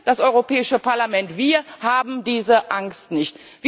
Wir, das Europäische Parlament, haben diese Angst nicht!